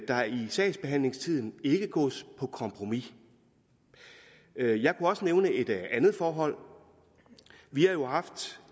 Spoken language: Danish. der i sagsbehandlingstiden ikke gås på kompromis jeg kunne også nævne et andet forhold vi har jo